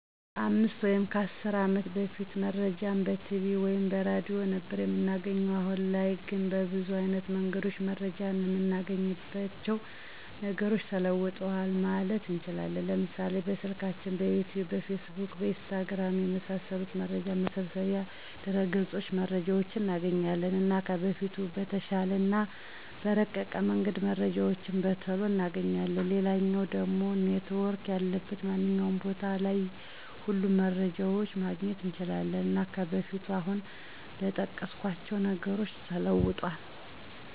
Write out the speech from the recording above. ከ 5 ወይም 10 አመት በፊት መረጃን በቲቪ ወይም በሬድዮ ነበር እምናገኘዉ። አሁን ላይ ግን በብዙ አይነት መንገድ መረጃን እምናገኝባቸዉ ነገሮች ተለዉጠዋል ማለት እንችላለን፤ ለምሳሌ፦ በስልካችን፣ በዩቱዩብ፣ በፌስቡክ፣ በኢንስታግራም፣ የመሳሰሉት መረጃ መሰብሰቢያ ድረገፆች መረጃዎችን እናገኛለን። እና ከበፊቱ በተሻለ እና በረቀቀ መንገድ መረጃዎችን በቶሎ እናገኛለን፣ ሌላኛዉ ደሞ ኔትዎርክ ያለበት ማንኛዉም ቦታ ላይ ሁሉንም መረጃዎችን ማግኘት እንችላለን። እና ከበፊቱ አሁን በጠቀስኳቸዉ ነገሮች ተለዉጧል።